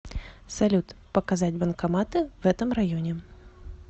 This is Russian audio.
салют показать банкоматы в этом районе